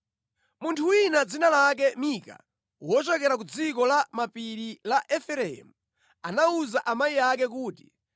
Munthu wina dzina lake Mika wochokera ku dziko la mapiri la Efereimu anawuza amayi ake kuti